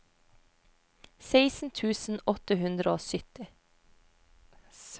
seksten tusen åtte hundre og sytti